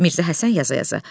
Mirzə Həsən yaza-yaza.